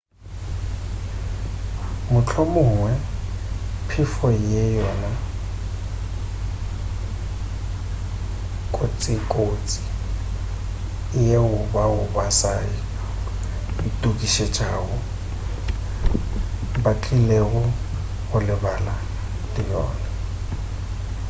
mohlomongwe phefo ke yona kotsikotsi yeo bao ba sa itokišetšago ba tlilego go lebana le yona